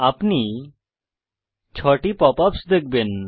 আপনি 6 টি pop ups দেখবেন